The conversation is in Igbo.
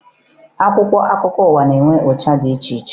Akwụkwọ akụkọ ụwa na-enwe ụcha dị iche iche